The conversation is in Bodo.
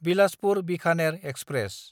बिलासपुर–बिखानेर एक्सप्रेस